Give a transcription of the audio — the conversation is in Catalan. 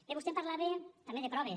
bé vostè em parlava també de proves